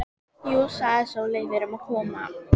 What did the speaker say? Jú, sagði Sóley, við erum að koma.